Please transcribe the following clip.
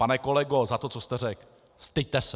Pane kolego, za to, co jste řekl, styďte se!